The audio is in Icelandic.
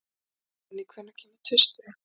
Konný, hvenær kemur tvisturinn?